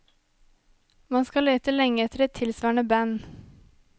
Man skal lete lenge etter et tilsvarende band.